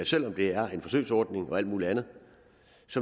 selv om det er en forsøgsordning og alt muligt andet